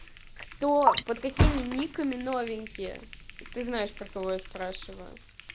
кто под какими никами новенькие ты знаешь про кого я спрашиваю